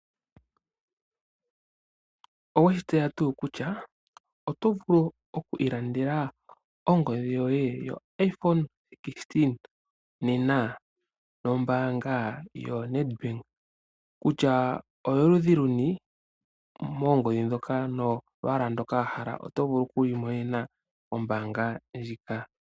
Owe shi tseya tuu kutya oto vulu okwiilandela ongodhi yoye yoIphone 16 nena nombaanga yoNedbank? kutya oyoludhi luni moongodhi ndhoka nolwaala ndoka wa hala oto vulu okuyiimonena nombaanga ndjika.